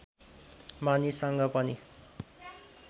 मानिससँग पनि